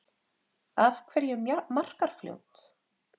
Af hverju Markarfljót?